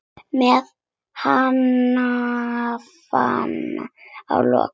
Með hnefann á lofti.